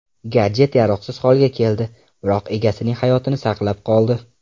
Gadjet yaroqsiz holga keldi, biroq egasining hayotini saqlab qoldi.